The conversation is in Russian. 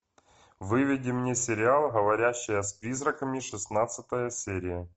выведи мне сериал говорящая с призраками шестнадцатая серия